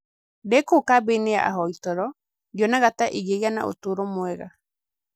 Ndĩ kũu kambĩ-inĩ ya ahoi toro, ndionaga ta ingĩgĩa na ũtũũro mwega".